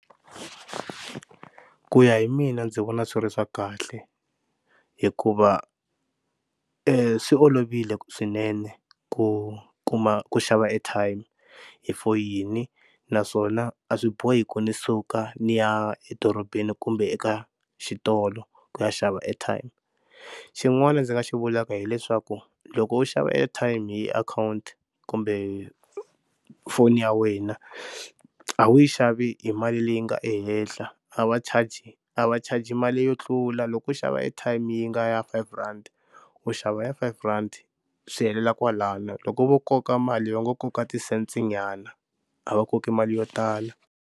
Ku ya hi mina ndzi vona swi ri swa kahle hikuva swi olovile swinene ku kuma ku xava airtime hi for yini naswona a swi bohi ku ndzi suka ndzi ya edorobeni kumbe eka xitolo ku ya xava airtime. Xin'wana ndzi nga xi vulaka hileswaku loko u xava airtime hi akhawunti kumbe foni ya wena a wu yi xavi hi mali leyi nga ehenhla a va charge a va charge mali yo tlula loko u xava airtime yi nga ya five rand u xava ya five rand swi helela kwalano loko vo koka mali yo ngo koka ti-cents nyana a va koki mali yo tala.